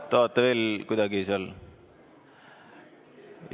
Tahate veel kuidagi seal ...?